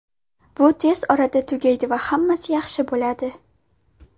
Bu tez orada tugaydi va hammasi yaxshi bo‘ladi.